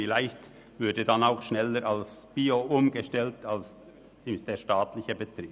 Vielleicht würde dann auch schneller auf Bio umgestellt als beim staatlichen Betrieb.